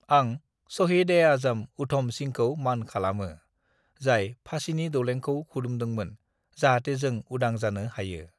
"आं शहीद-ए-आजम उधम सिंहखौ मान खालामो, जाय फासिनि दौलेंखौ खुदुमदोंमोन, जाहाथे जों उदां जानो हायो।"